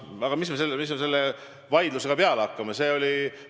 Aga mis me selle vaidlusega peale hakkame?